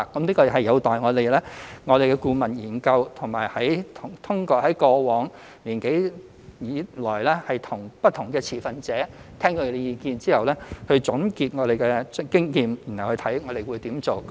這有待顧問研究，以及通過過往一年多以來聽取不同持份者的意見後，總結經驗，然後檢視如何做。